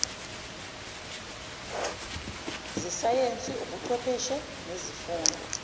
zesayensi ubuchwepheshe nezifundo